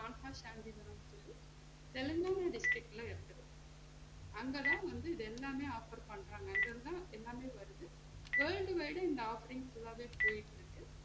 சொல்லி தெலுங்கனா district இருக்குது அங்க தா வந்து இது எல்லாமே offer பண்ணுறாங்க அங்க இருந்து தான் எல்லாமே வருது world wide அ இந்த offering full லாமே போயிட்டு இருக்கு